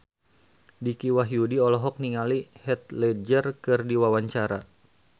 Dicky Wahyudi olohok ningali Heath Ledger keur diwawancara